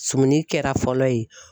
Sumuni kɛra fɔlɔ ye.